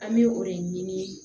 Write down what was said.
An bɛ o de ɲini